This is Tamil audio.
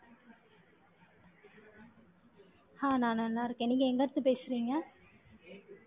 ஆ, நான் நல்லா இருக்கேன். நீங்க எங்க இருந்து பேசுறீங்க